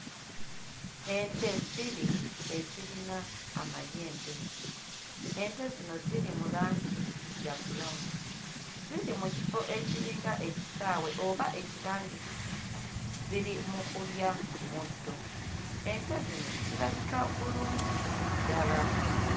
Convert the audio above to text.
Ente bbiri ezirina amayembe. Ente zino ziri mu langi eya bbulawuni. Ziri mu kifo ekiringa ekisaawe oba ekibangirizi ziri mu kulya muddo. Ente zino zirabika bulungi ddala.